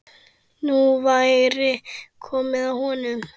Nú væri komið að honum.